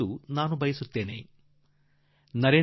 ನೀವು ಖಂಡಿತಾ ನನಗೆ ಏನಾದರೂ ಕಳುಹಿಸಿ